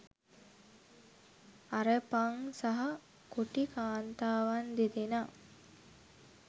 අරපන් සහ කොටි කාන්තාවන් දෙදෙනා